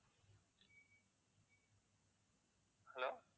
hello